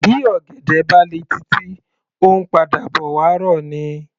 Bí ọ̀gẹ̀dẹ̀ bá le títí, ó ńpadà bọ̀ wá rọ̀ ni.